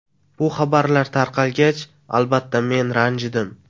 Bu xabarlar tarqalgach, albatta men ranjidim.